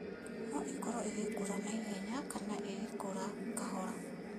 No ĩkorũo igĩkũra na ihenya kana igĩkũra kahora.